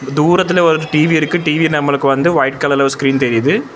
தூரத்துல ஒரு டி_வி இருக்கு டி_வி நம்மளுக்கு வந்து ஒயிட் கலர்ல ஒரு ஸ்கிரீன் தெரியிது.